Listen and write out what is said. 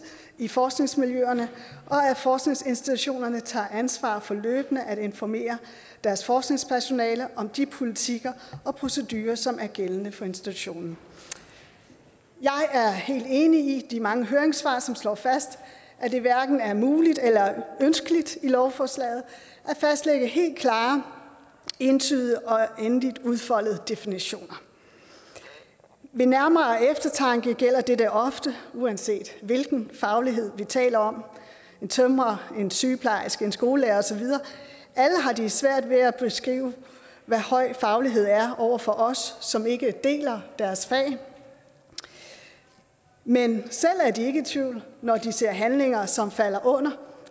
i forskningsmiljøerne og at forskningsinstitutionerne tager ansvar for løbende at informere deres forskningspersonale om de politikker og procedurer som er gældende for institutionen jeg er enig i de mange høringssvar som slår fast at det hverken er muligt eller ønskeligt i lovforslaget at fastlægge helt klare entydige og endeligt udfoldede definitioner ved nærmere eftertanke gælder dette ofte uanset hvilken faglighed vi taler om en tømrer en sygeplejerske en skolelærer og så videre alle har de svært at beskrive hvad høj faglighed er over for os som ikke deler deres fag men selv er de ikke i tvivl når de ser handlinger som falder under